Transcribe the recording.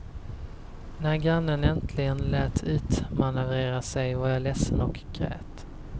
När grannen äntligen lät utmanövrera sig var jag ledsen och grät.